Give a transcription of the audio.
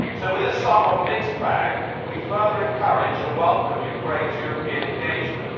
So, with this somewhat mixed bag, we further encourage and welcome Ukraine's European engagement.